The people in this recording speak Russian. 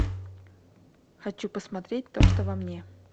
хочу посмотреть то что во мне